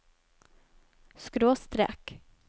skråstrek